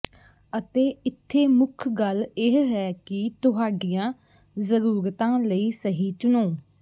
ਅਤੇ ਇੱਥੇ ਮੁੱਖ ਗੱਲ ਇਹ ਹੈ ਕਿ ਤੁਹਾਡੀਆਂ ਜ਼ਰੂਰਤਾਂ ਲਈ ਸਹੀ ਚੁਣੋ